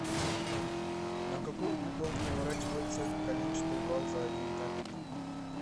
на какой угол поворачивается коленчатый вал за один такт